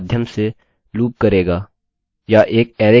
या एक अरैarrayके एलीमेंट्स को